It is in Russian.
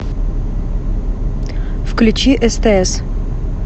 включи стс